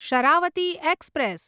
Sharavati express